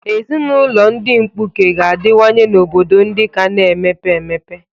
Ezinụlọ ndị mkpuke ga-adịwanye n'obodo ndị ka na-emepe emepe.